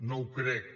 no ho crec